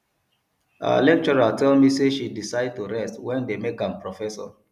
our lecturer tell me say she decide to rest wen dey make am professor